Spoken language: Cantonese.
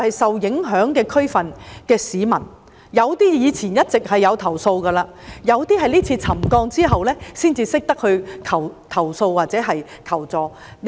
受影響地區的市民，有些以前一直投訴，有些是今次沉降後才懂得投訴或求助的。